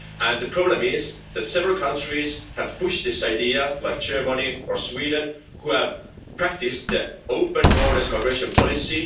The problem is that several countries have pushed this idea, like German or Sweden, and have practised their open borders immigration policy.